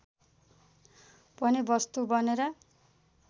पनि वस्तु बनेर